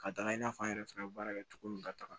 Ka da i n'a fɔ an yɛrɛ fɛnɛ bɛ baara kɛ cogo min ka taga